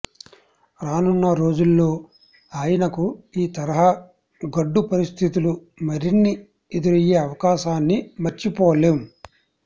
రానున్న రోజుల్లో ఆయనకు ఈ తరహా గడ్డు పరిస్థితులు మరిన్ని ఎదురయ్యే అవకాశాన్ని మర్చిపోలేం